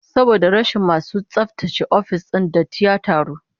Saboda rashin masu tsaftace ofis din, datti ya taru